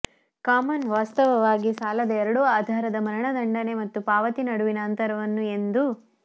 common ವಾಸ್ತವವಾಗಿ ಸಾಲದ ಎರಡೂ ಆಧಾರದ ಮರಣದಂಡನೆ ಮತ್ತು ಪಾವತಿ ನಡುವಿನ ಅಂತರವನ್ನು ಎಂದು